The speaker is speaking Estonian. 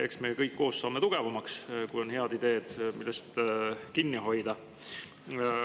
Eks me kõik koos saame tugevamaks, kui on head ideed, millest kinni hoida.